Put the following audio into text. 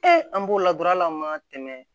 an b'o ladon ala ma tɛmɛ